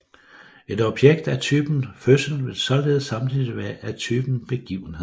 Et objekt af typen Fødsel vil således samtidig være af typen Begivenhed